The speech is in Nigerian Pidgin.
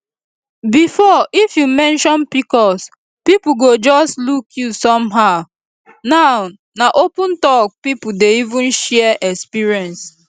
before if you mention pcos people go just look you somehow now na open talk people dey even share experience